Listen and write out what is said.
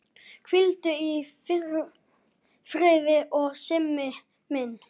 Hvíldu í friði Simmi minn.